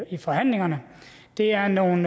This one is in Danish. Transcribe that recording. i forhandlingerne det er nogle